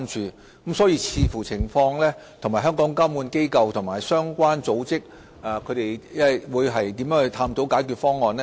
因此，我們會視乎情況，與香港的監管機構和相關組織探討解決方案。